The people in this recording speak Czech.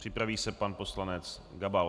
Připraví se pan poslanec Gabal.